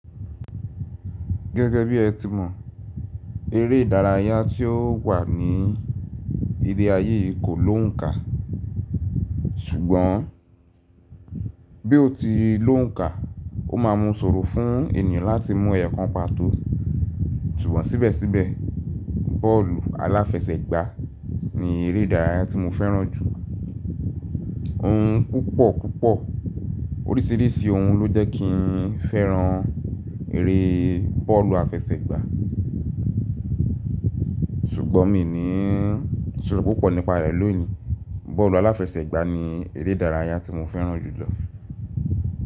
Gẹ́gẹ́ bí ẹ ti mọ, eré ìdárayá tí ó wà ní ilé ayé yìí kò lóǹkà, ṣùgbọ́n bí ó ti lóǹkà, ó máa mu sọ̀rọ̀ fún ènìyàn láti mú ẹ̀yọ̀ kan pàtó. Ṣùgbọ́n síbẹ̀síbẹ̀, bọ́ọ̀lù aláfẹsẹ̀gbá ni eré ìdárayá tí mo fẹ́ràn jù. Ohun púpọ̀ púpọ̀ oríṣìíríṣìí ohun ló jẹ́ kí n fẹ́ràn eré bọ́ọ̀lù aláfẹsẹ̀gbá, ṣùgbọ́n mi ní sọ̀rọ̀ púpọ̀ nípa rẹ̀ lónìí. Bọ́ọ̀lù aláfẹsẹ̀gbá ni eré ìdárayá tí mo fẹ́ràn jùlọ.